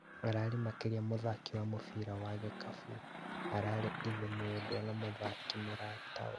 Ararĩ makĩria ya mũthaki wa mũbĩra wa gĩkabu, ararĩ ithe mwendwa na mũthaki mũratawe